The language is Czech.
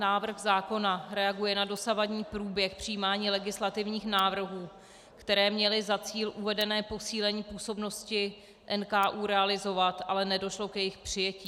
Návrh zákona reaguje na dosavadní průběh přijímání legislativních návrhů, které měly za cíl uvedené posílení působnosti NKÚ realizovat, ale nedošlo k jejich přijetí.